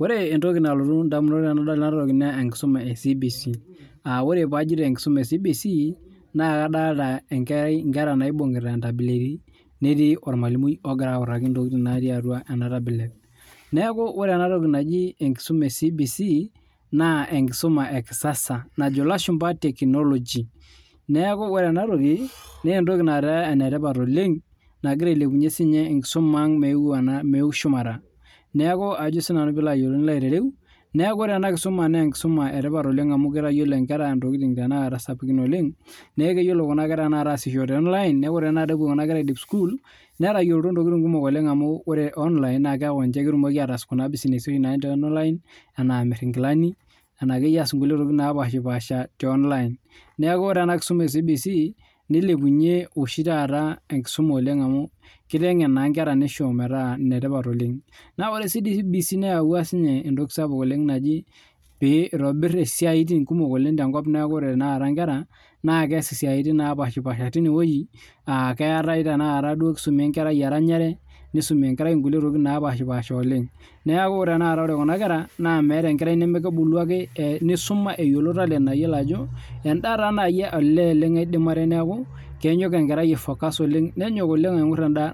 Ore entoki nalotu edamunot tenadol ena toki naa tenkisuma ee CBC]aa ore peyie ajoito enkusuma ee CBC naa kadolita Nkera naibungieta entableti netii ormalimui ogira autaki entoki natii atua ena tablet neeku ore ena toki naaji tenkisuma ee CBC naa tenkisuma ee kisasa najo elashumba tekinoloji neeku ore ena toki netaa enetipat oleng nagira sininye ailepunye tenkisuma ang meu shumata neeku ore ena kisuma naa enetipat amu kitayiolo Nkera ntokitin sapukin oleng neeku keyiolo Kuna kera ataasisho tee online neeku ore epuo Kuna kera audip sukuul netayiolito ataas ntokin kumok neeku ore online netayiolito ataas Kuna businessi oshi natii online enaa amir enkilani enakeyie aas entokin naapasha tee online neeku ore ena kisuma ee CBC nilepunye oshi taata enkusuma amu kitengen naa Nkera nishoo metaa enetipata oleng ore sininye CBC neyawua ninye entoki sapuk naaji pee eitobir esiai kumok oleng tee nkop neeku ore Tanaka Nkera naa keas siatin napashipasha teine wueji keetae tenakata kisume enkerai eranyare nisumi kulie tokitin napashipasha oleng neeku ore Kuna kera meeta enkerai nemekebulu ake nisuma eyiolou talent mayiolo Ajo endaa naaji aidim nenyok aifocus oleng endaa